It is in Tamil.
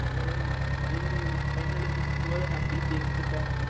டெய் நீ final year final year முடிக்கும் போது nienty இருப்ப